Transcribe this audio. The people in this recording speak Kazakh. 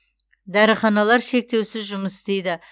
дәріханалар шектеусіз жұмыс істейді